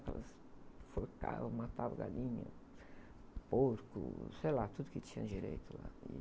enforcavam, matavam galinha, porco, sei lá, tudo que tinha direito lá.